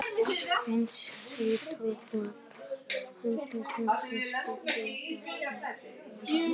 Eingyðistrúin, sem tók við af henni, hefði skipt út hjátrúnni fyrir ofstækið.